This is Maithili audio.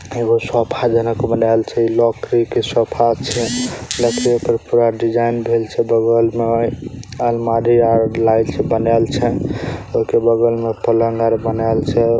एगो सोफा जनक बनल छे इ लकड़ी के सोफा छे लकड़ी पे पूरा डिज़ाइन देल छे बगल में | अलमारी और लाइट बनल छे ओके बगल में पलंग आर बनेल छे|